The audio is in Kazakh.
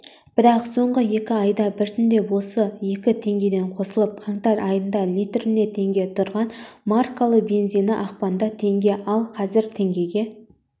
бірақ соңғы екі айда біртіндеп осылай екі теңгеден қосылып қаңтар айында литріне теңге тұрған маркалы бензині ақпанда теңге ал қазір теңгеге